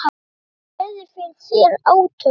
Hvernig sérðu fyrir þér átökin?